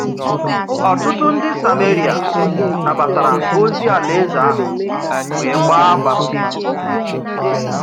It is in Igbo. Ọtụtụ ndị Sameria nabatara ozi Alaeze ahụ wee gbaa baptizim.